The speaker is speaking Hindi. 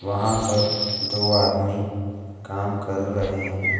वहां पर दो आदमी काम कर रहे हैं।